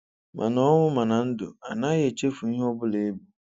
Mana ọnwụ mana ndụ, anaghị echefu ihe Obụla I bu.